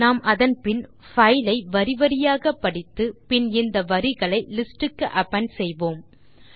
நாம் அதன் பின் பைல் ஐ வரிவரியாக படித்து பின் இந்த வரிகளை லிஸ்ட் க்கு அபெண்ட் செய்வோம்